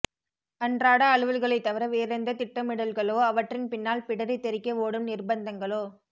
அன்றாட அலுவல்களைத் தவிர வேறெந்தத் திட்டமிடல்களோ அவற்றின்பின்னால் பிடரி தெறிக்க ஓடும் நிர்ப்பந்தங்களோ